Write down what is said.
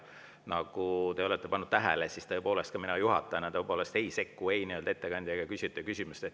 Nagu te olete tähele pannud, siis ka mina juhatajana tõepoolest ei sekku ei ettekandja juttu ega küsijate küsimustesse.